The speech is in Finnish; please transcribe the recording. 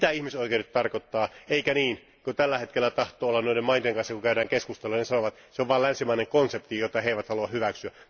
Mitä ihmisoikeudet tarkoittavat? Eikä niin, kuin tällä hetkellä tahtoo olla noiden maiden kanssa kun käydään keskusteluita, he sanovat, se on vain länsimainen konsepti, jota he eivät halua hyväksyä.